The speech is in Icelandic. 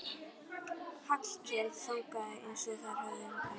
Hallkell þangað eins og þeir höfðu vænst.